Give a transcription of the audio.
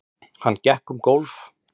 Hann gekk um gólf.